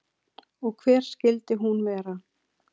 Og hver skyldi hún vera?